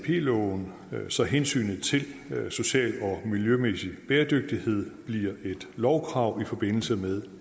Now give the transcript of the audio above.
loven så hensynet til social og miljømæssig bæredygtighed bliver et lovkrav i forbindelse med